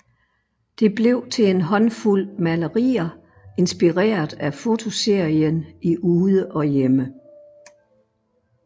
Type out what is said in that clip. Det blev til en håndfuld malerier inspireret af fotoserien i Ude og Hjemme